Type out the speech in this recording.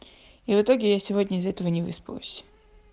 и в итоге я сегодня из-за этого не выспалась